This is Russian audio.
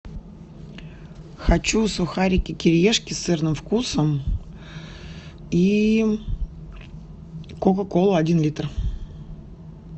хочу сухарики кириешки с сырным вкусом и кока колу один литр